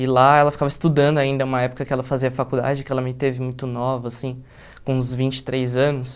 E lá ela ficava estudando ainda, uma época que ela fazia faculdade, que ela me teve muito nova, assim, com uns vinte e três anos.